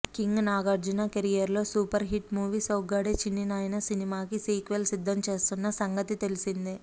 king Nagarjuna career లో super hit movie Soggade Chinni Nayana సినిమాకి sequel సిద్ధం చేస్తున్న సంగతి తెలిసిందే